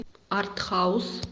артхаус